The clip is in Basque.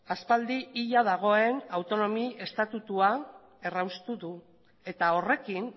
aspaldi hila dagoen autonomi estatutua erraustu du eta horrekin